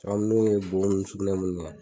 bo ni sugunɛ mun kɛ.